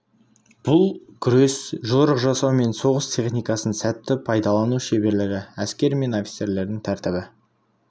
бұл күрес жорық жасау мен соғыс техникасын сәтті пайдалану шеберлігі әскер мен офицерлердің тәртібі